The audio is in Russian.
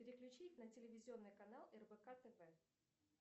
переключить на телевизонный канал рбк тв